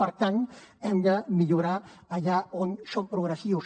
per tant hem de millorar allà on som progressius